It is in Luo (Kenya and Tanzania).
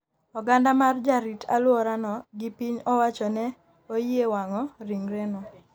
oganda mar jarit alwora no gi piny owacho ne oyie wang'o ringre no